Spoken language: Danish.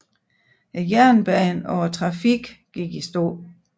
Jernbanen og trafikken gik i stå